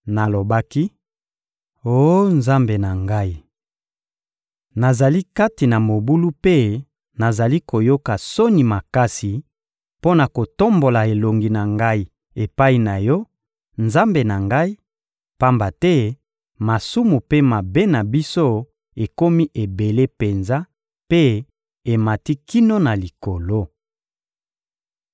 Nalobaki: «Oh Nzambe na ngai! Nazali kati na mobulu mpe nazali koyoka soni makasi mpo na kotombola elongi na ngai epai na Yo, Nzambe na ngai; pamba te masumu mpe mabe na biso ekomi ebele penza mpe emati kino na Likolo!